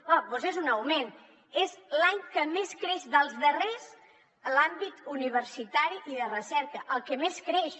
doncs és un augment és l’any que més creix dels darrers l’àmbit universitari i de recerca el que més creix